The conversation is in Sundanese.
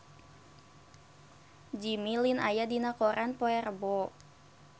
Jimmy Lin aya dina koran poe Rebo